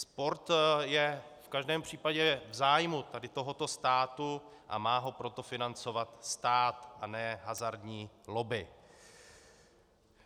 Sport je v každém případě v zájmu tady tohoto státu, a má ho proto financovat stát a ne hazardní lobby.